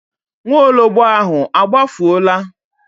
Nwaologbo ahụ a gbafuola?